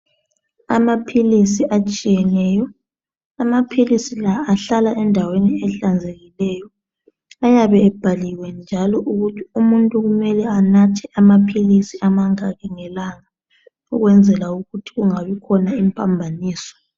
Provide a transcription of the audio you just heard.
Amaphilisi atshiyeneyo amaphilisi la ahlala endaweni elihlanzekileyo ayabe ebhaliwe njalo ukuthi umuntu kumele enathe amaphilisi amangaki ngelanga ukwenzela ukuthi kungabi khona impambaniso.